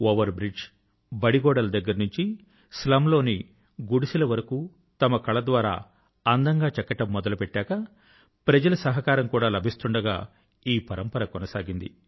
over bridge బడి గోడల దగ్గర నుండి స్లమ్ లోని గుడిసెల వరకు తమ కళ ద్వారా అందం గా చెక్కడం మొదలు పెట్టాక ప్రజల సహకారం కూడా లభిస్తుండగా ఈ పరంపర కొనసాగింది